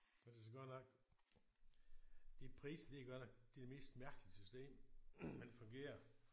Jeg synes godt nok de priser de er godt nok det er det mest mærkelige system men det fungerer